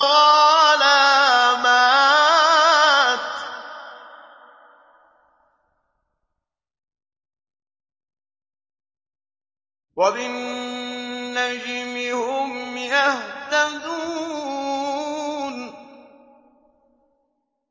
وَعَلَامَاتٍ ۚ وَبِالنَّجْمِ هُمْ يَهْتَدُونَ